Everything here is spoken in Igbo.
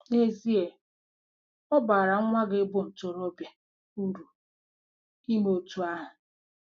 N'ezie, ọ baara nwa gị bu ntorobịa uru ime otú ahụ.